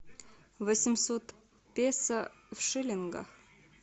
восемьсот песо в шиллингах